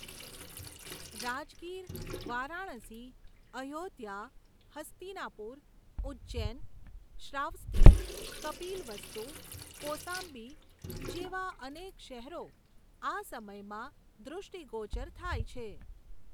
રાજગીર, વારાણસી, અયોધ્યા, હસ્તિનાપુર, ઉજજૈન, શ્રાવસ્તિ, કપિલવસ્તુ, કોસાંબી જેવા અનેક શહેરો આ સમયમાં દૃષ્ટિગોચર થાય છે.